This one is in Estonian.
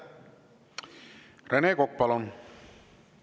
Rene Kokk, palun!